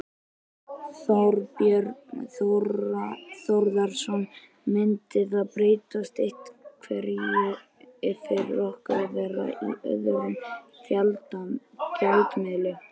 Þorbjörn Þórðarson: Myndi það breyta einhverju fyrir okkur að vera í öðrum gjaldmiðli?